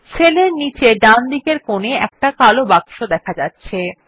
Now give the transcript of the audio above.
সেলের নীচে ডানদিকের কোনে একটা কালো বাক্স দেখা যাচ্ছে